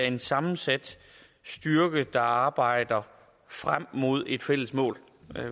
en sammensat styrke der arbejder frem mod et fælles mål